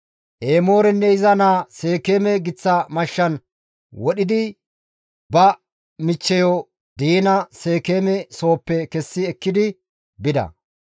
Emoorenne iza naa Seekeeme giththa mashshan wodhidi ba michcheyo Diina Seekeeme sooppe kessi ekkidi bida.